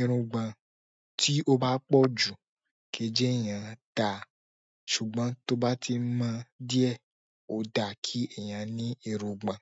Irungbọ̀n tí ó bá pọ̀ jù kii je èèyàn dáa, ṣùgbọ́n tó bá ti mọ díẹ̀ ó dáa kí èèyàn ní irungbọ̀n.